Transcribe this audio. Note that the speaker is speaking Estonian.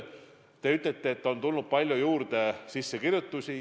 Te ütlete, et sissekirjutusi on palju juurde tulnud.